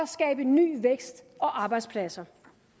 skabe ny vækst og arbejdspladser